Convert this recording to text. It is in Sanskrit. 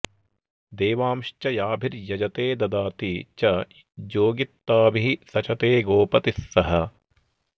देवांश्च याभिर्यजते ददाति च ज्योगित्ताभिः सचते गोपतिः सह